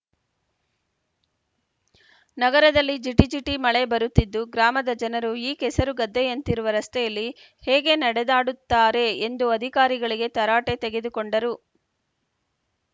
ನಗರದಲ್ಲಿ ಜಿಟಿ ಜಿಟಿ ಮಳೆ ಬರುತ್ತಿದ್ದು ಗ್ರಾಮದ ಜನರು ಈ ಕೆಸರುಗದ್ದೆಯಂತಿರುವ ರಸ್ತೆಯಲ್ಲಿ ಹೇಗೆ ನಡೆದಾಡುತ್ತಾರೆ ಎಂದು ಅಧಿಕಾರಿಗಳಿಗೆ ತರಾಟೆ ತೆಗೆದುಕೊಂಡರು